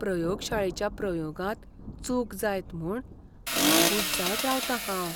प्रयोगशाळेच्या प्रयोगांत चूक जायत म्हूण आबूज जायत रावतां हांव.